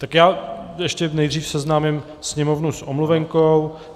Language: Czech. Tak já ještě nejdřív seznámím Sněmovnu s omluvenkou.